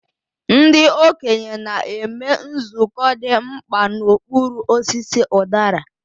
Ndị okenye na-eme nzukọ dị mkpa n'okpuru osisi udara.